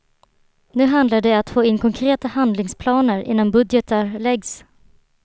Nu handlar det att få in konkreta handlingsplaner innan budgetar läggs.